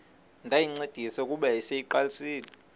ndayincedisa kuba yayiseyiqalisile